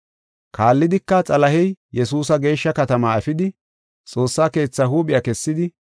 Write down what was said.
Kaallidika, Xalahey Yesuusa geeshsha katamaa efidi, Xoossaa keetha huuphiya kessidi,